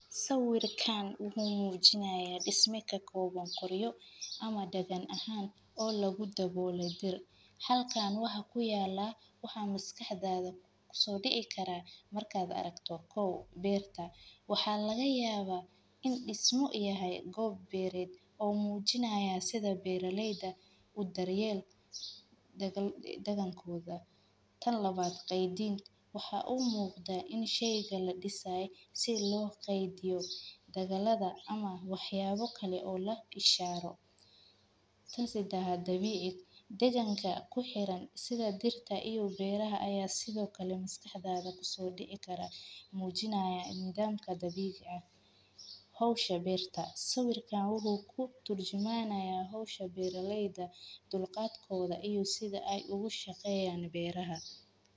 Sawirkaan wuxuu muujinayaa dhismaha ka kooban qoryo ama dagan ahaan oo lagu daboolo dir. Halkaan waxa ku yaala waxa miskaxdaada kusoo dhici kara markaad aragto kow beertah. Waxaa laga yaabaa in dhismo yahay goob beered oo muujinaya sida beerileyda u daryeel dagal dagan kooda. Tan labaad. Qeediin waxa uu muuqda in shaygalla dhisay si loo qeidyo dagaladda ama waxyaabo kale oo la ishaaro. Tasi daha dabiic deganka ku xiran sida dirta iyo beeraha ayaa sidoo kale miskaxdaada kusoo dhici kara muujinaya nidaamka dabiic ah. Hawsha beerta sawirka wuxuu ku turjumanaya hawsha beeraleyda dulqaad kooda iyo sida ay ugu shaqeeyaan beeraha.